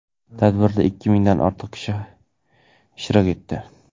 Tadbirda ikki mingdan ortiq kishi ishtirok etdi.